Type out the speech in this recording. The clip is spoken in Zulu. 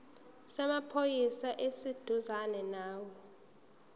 samaphoyisa esiseduzane nawe